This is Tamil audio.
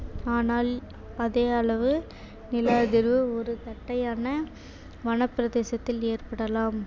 ஆனால் அதே அளவு நில அதிர்வு ஒரு தட்டையான வனப்பிரதேசத்தில் ஏற்படலாம்